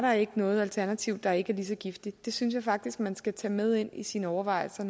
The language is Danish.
noget alternativ der ikke er lige så giftigt det synes jeg faktisk man skal tage med ind i sine overvejelser